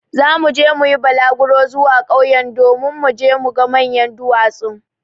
Zamu yi bulaguro zuwa ƙauyen don mu je mu ga manyan duwatsun.